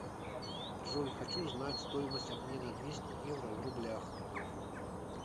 джой хочу знать стоимость обмена двести евро в рублях